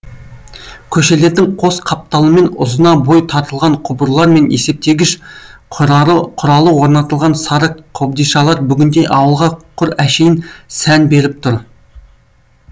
көшелердің қос қапталымен ұзына бой тартылған құбырлар мен есептегіш құралы орнатылған сары қобдишалар бүгінде ауылға құр әшейін сән беріп тұр